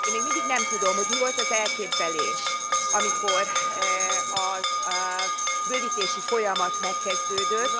Én még mindig nem tudom, hogy mi volt az elképzelés, amikor a bővítési folyamat megkezdődött.